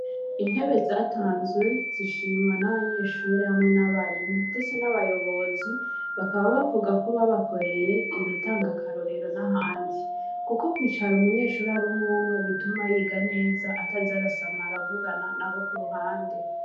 Intebe zatanzwe zishimwa n'abanyeshuri hamwe n'abarimu ndese n'abayobozi bakaba bavuga ko babakoreye inutanga akarorero na handi, kuko kwicara umunyeshuri ari unwumwe bituma yiga neza ataz arasama aravugana na bo ku ruhande.